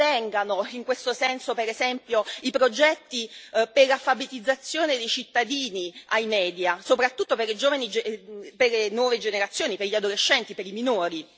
Ben vengano in questo senso, per esempio, i progetti per l'alfabetizzazione dei cittadini ai media, soprattutto per le nuove generazioni, per gli adolescenti, per i minori.